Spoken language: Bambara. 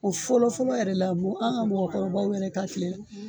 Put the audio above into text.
O fɔlɔ fɔlɔ yɛrɛ la an ka mɔgɔ kɔrɔbaw yɛrɛ ka kile la